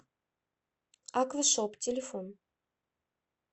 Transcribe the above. аквашоп телефон